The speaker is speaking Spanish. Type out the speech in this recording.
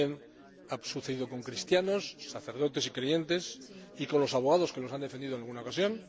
también ha sucedido con cristianos, sacerdotes y creyentes y con los abogados que los han defendido en alguna ocasión.